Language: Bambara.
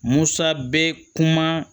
Musa be kuma